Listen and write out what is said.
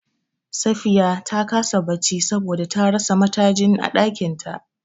Safiya ta kasa bacci saboda ta rasa matajin a ɗakin ta.